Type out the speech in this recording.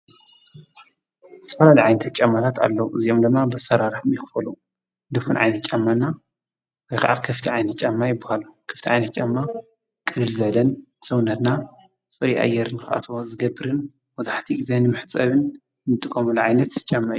ስፈራ ለዓይንተት ጨማታት ኣለዉ እዚዮም ለማ በሠራራሕ ሚይኽፈሉ ድፉን ዓይነት ጫማና ወይኸዓ ከፍቲ ዓይኒት ጫማ ይብሃል ክፍቲ ዓይነት ጫማ ቀድል ዘለን ሰውነትና ፆይ ኣየርን ክኣት ዘገብርን ወታሕቲ ጊዜ ንምሕጸብን ንጥቆምልዓይነት ጫማይ።